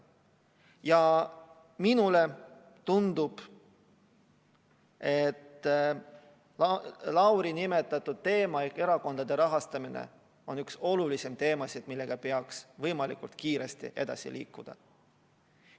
Ja minule tundub, et Lauri nimetatud teema ehk erakondade rahastamine on üks olulisemaid teemasid, millega peaks võimalikult kiiresti edasi liikuma.